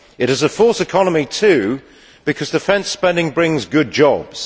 It is a false economy too, because defence spending brings good jobs.